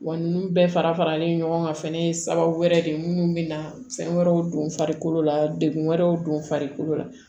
Wa ninnu bɛɛ fara faralen ɲɔgɔn kan fɛnɛ ye sababu wɛrɛ de ye minnu bɛ na fɛn wɛrɛw don farikolo la degun wɛrɛw don farikolo la